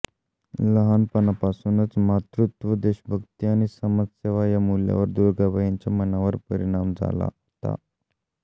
लहानपणापासूनच मातृत्व देशभक्ती आणि समाजसेवा या मूल्यांवर दुर्गाबाईंच्या मनावर परिणाम झाला होता